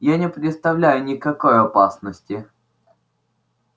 я не представляю никакой опасности